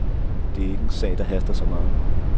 Det er ikke en sag, der haster så meget.